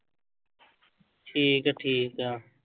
ਠੀਕ ਹੈ ਠੀਕ ਹੈ।